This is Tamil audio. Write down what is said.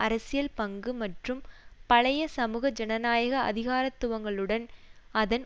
அரசியல் பங்கு மற்றும் பழைய சமூக ஜனநாயக அதிகாரத்துவங்களுடன் அதன்